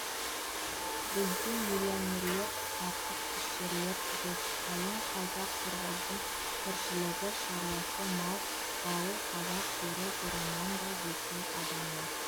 бізде миллионерлер жатыпішерлер жоқ қалың қазақ-қырғыздың тіршілігі шаруасы мал бағу қазақ жері бұрыннан да жеке адамның